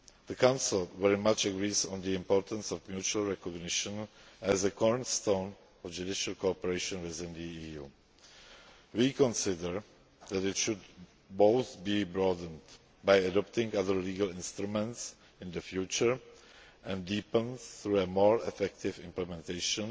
The Council very much agrees on the importance of mutual recognition as a cornerstone of judicial cooperation within the EU. We consider that it should both be broadened by adopting other legal instruments in the future and deepened, through a more effective implementation